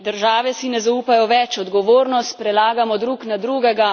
Države si ne zaupajo več, odgovornost prelagamo drug na drugega.